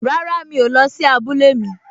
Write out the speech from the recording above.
Rárá, mi ò lọ sí abúlé mi